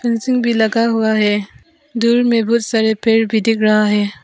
Fencing भी लगा हुआ है दूर में बहुत सारे पेड़ भी दिख रहा है।